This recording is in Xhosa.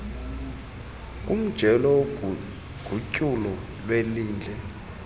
kumjelo wogutyulo lwelindle